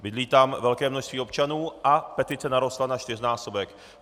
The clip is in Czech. Bydlí tam velké množství občanů a petice narostla na čtyřnásobek.